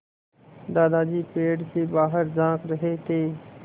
दादाजी पेड़ से बाहर झाँक रहे थे